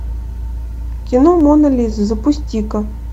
кино мона лиза запусти ка